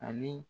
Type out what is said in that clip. Ani